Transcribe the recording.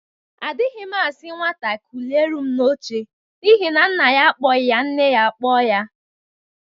Adighị m asi nwata kuliere m n'oche n'ihi na nna ya akpoghị ya nne ya akpọ ya